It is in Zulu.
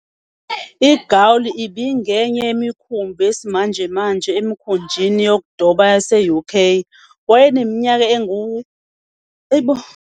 "IGaul ibingenye" yemikhumbi yesimanjemanje emikhunjini yokudoba yase-UK- wayeneminyaka engu, hhayi bo.